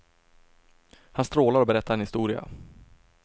Han strålar och berättar en historia.